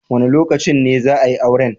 Wa ne lokacin ne za a yi auren?